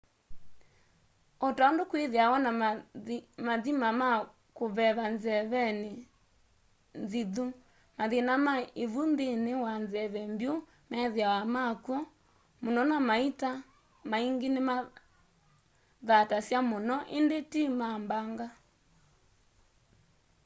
o ta undu kwithiawa na mathima ma kuveva nzeveni nzithu mathina ma ivu nthini wa nzeve mbyu methiawa makw'o muno na maita maingi nimathatasya muno indi ti ma mbanga